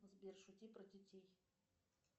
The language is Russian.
сбер шути про детей